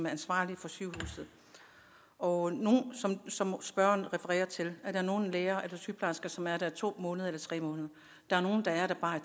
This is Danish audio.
ansvarlige for sygehuset og som spørgeren refererer til er der nogle læger eller sygeplejersker som er der i to måneder eller tre måneder der er nogle der er der i bare